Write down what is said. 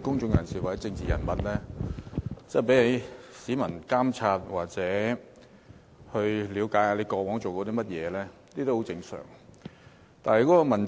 公眾人士或政治人物受市民監察，了解他們過往做過甚麼，是十分正常的。